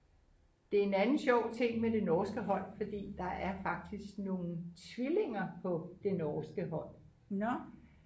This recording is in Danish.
det er en anden sjov ting med det norske hold fordi der er faktisk nogle tvillinger på det norske hold